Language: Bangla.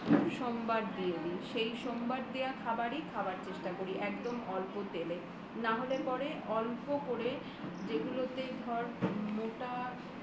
সোমবার দিয়ে দি সেই সোমবার দেওয়া খাবারই খাবার চেষ্টা করি একদম অল্প তেলে না হলে পারলে অল্প করে যেগুলিতে ধর মোটা